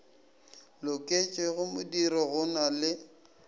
loketšego modiro go na le